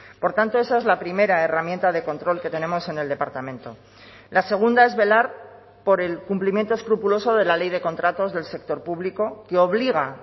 por tanto esa es la primera herramienta de control que tenemos en el departamento la segunda es velar por el cumplimiento escrupuloso de la ley de contratos del sector público que obliga